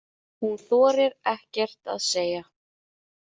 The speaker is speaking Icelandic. Hún þorir ekkert að segja.